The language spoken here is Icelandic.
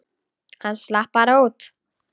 Hann slapp bara út.